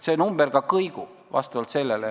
See number kõigub.